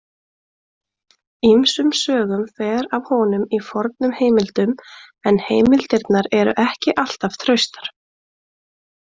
Ýmsum sögum fer af honum í fornum heimildum en heimildirnar eru ekki alltaf traustar.